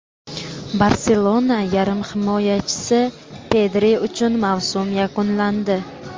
"Barselona" yarim himoyachisi Pedri uchun mavsum yakunlandi.